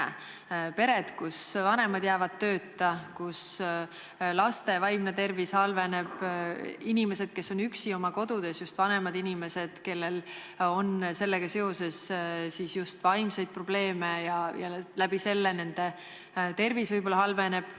Need on pered, kus vanemad jäävad tööta, kus laste vaimne tervis halveneb, kus on inimesed, kes on üksi oma kodus, just vanemad inimesed, kellel on sellega seoses ka vaimseid probleeme ja seetõttu nende tervis võib-olla halveneb.